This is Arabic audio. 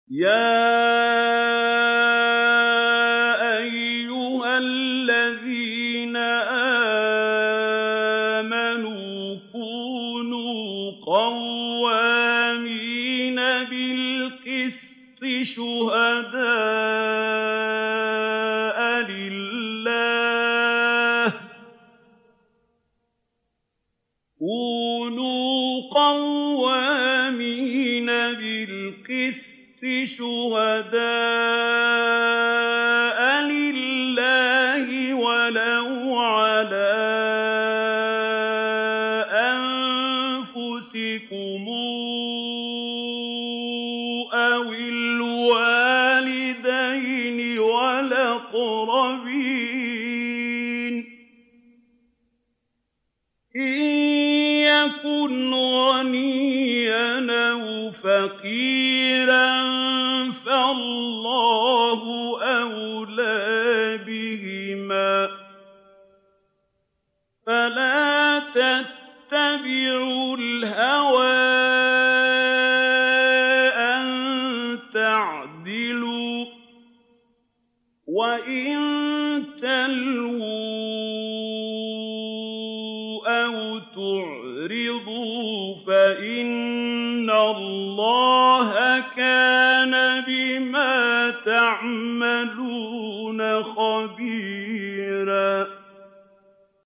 ۞ يَا أَيُّهَا الَّذِينَ آمَنُوا كُونُوا قَوَّامِينَ بِالْقِسْطِ شُهَدَاءَ لِلَّهِ وَلَوْ عَلَىٰ أَنفُسِكُمْ أَوِ الْوَالِدَيْنِ وَالْأَقْرَبِينَ ۚ إِن يَكُنْ غَنِيًّا أَوْ فَقِيرًا فَاللَّهُ أَوْلَىٰ بِهِمَا ۖ فَلَا تَتَّبِعُوا الْهَوَىٰ أَن تَعْدِلُوا ۚ وَإِن تَلْوُوا أَوْ تُعْرِضُوا فَإِنَّ اللَّهَ كَانَ بِمَا تَعْمَلُونَ خَبِيرًا